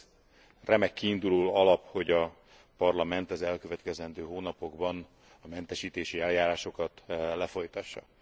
Ez remek kiinduló alap, hogy a Parlament az elkövetkezendő hónapokban a mentesítési eljárásokat lefolytassa.